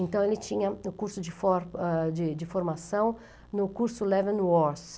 Então, ele tinha o curso ah de de formação no curso Leven Wars.